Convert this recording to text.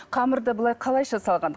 қамырды былай қалайша салған